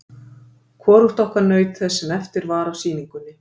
Hvorugt okkar naut þess sem eftir var af sýningunni.